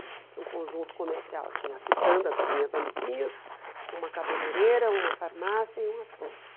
Tinha um conjunto comercial, tinha a quitanda das minhas amiguinhas, uma cabeleireira, uma farmácia e um açougue.